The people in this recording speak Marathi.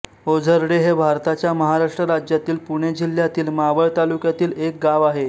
ओझर्डे हे भारताच्या महाराष्ट्र राज्यातील पुणे जिल्ह्यातील मावळ तालुक्यातील एक गाव आहे